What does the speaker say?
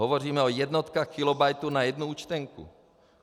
Hovoříme o jednotkách kilobytů na jednu účtenku.